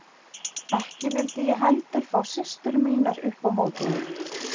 Ekki vildi ég heldur fá systur mínar upp á móti mér.